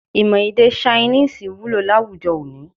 Imọ èdè Ṣainíìsì wulo láwàjọ òní